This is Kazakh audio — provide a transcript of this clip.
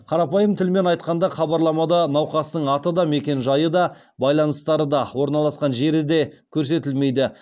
қарапайым тілмен айтқанда хабарламада науқастың аты да мекен жайы да байланыстары да орналасқан жері де көрсетілмейді